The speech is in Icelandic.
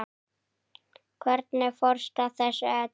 Hvernig fórstu að þessu öllu?